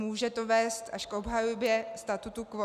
Může to vést až k obhajobě statu quo.